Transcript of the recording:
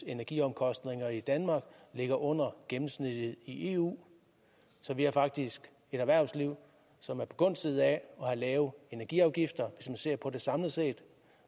energiomkostninger i danmark ligger under gennemsnittet i eu så vi har faktisk et erhvervsliv som er begunstiget af lave energiafgifter hvis man ser på det samlet set